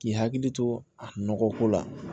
K'i hakili to a nɔgɔ ko la